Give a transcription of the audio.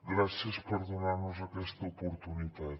gràcies per donar nos aquesta oportunitat